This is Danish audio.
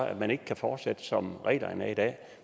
at man ikke kan fortsætte som reglerne er i dag